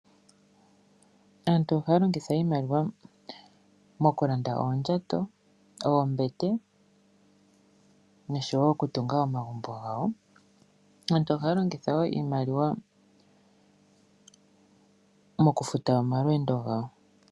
Aantu ohaya longitha iimaliwa mokulanda oondjato, oombete noshowo okutunga omagumbo gawo. Aantu ohaya longitha wo iimaliwa mokufuta omalweendo gawo.